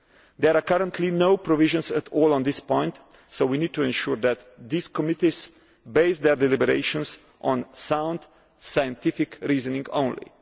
There are currently no provisions at all on this point so we need to ensure that these committees base their deliberations on sound scientific reasoning